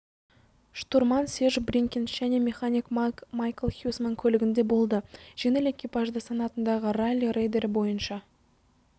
штурман серж бринкенс және механик майкл хьюсман көлігінде болды жеңіл экипажда санатындағы ралли рейдтері бойынша